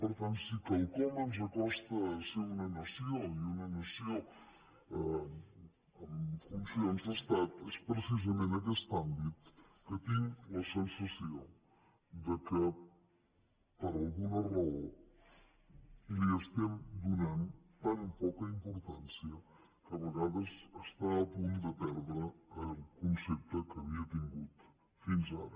per tant si quelcom ens acosta a ser una nació i una nació amb funcions d’estat és precisament aquest àmbit que tinc la sensació que per alguna raó li estem donant tan poca importància que a vegades està a punt de perdre el concepte que havia tingut fins ara